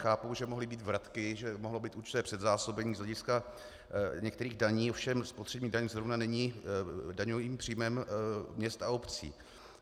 Chápu, že mohly být vratky, že mohlo být určité předzásobení z hlediska některých daní, ovšem spotřební daň zrovna není daňovým příjmem měst a obcí.